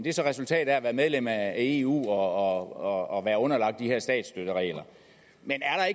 er så resultatet af at være medlem af eu og at være underlagt de her statsstøtteregler men er